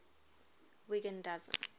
wiggin doesn t